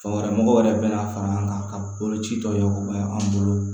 Fan wɛrɛ mɔgɔw yɛrɛ bɛna fara an kan ka boloci tɔ bɛ an bolo